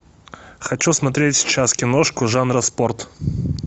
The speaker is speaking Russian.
хочу смотреть сейчас киношку жанра спорт